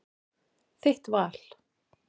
Þitt val.